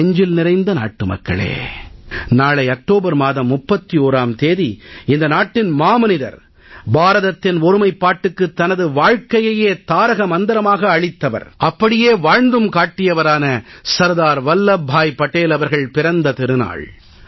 என் நெஞ்சில் நிறைந்த நாட்டுமக்களே நாளை அக்டோபர் மாதம் 31ஆம் தேதி இந்த நாட்டின் மாமனிதர் பாரதத்தின் ஒருமைப்பாட்டுக்கு தனது வாழ்கையையே தாரக மந்திரமாக்கியளித்தவர் அப்படியே வாழ்ந்தும் காட்டியவரான சர்தார் வல்லப் பாய் படேல் அவர்கள் பிறந்த திருநாள்